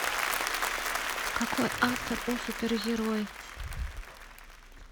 какой автор у супергерой